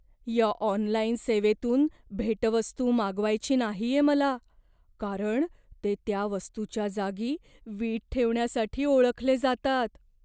या ऑनलाईन सेवेतून भेटवस्तू मागवायची नाहीये मला, कारण ते त्या वस्तूच्या जागी वीट ठेवण्यासाठी ओळखले जातात.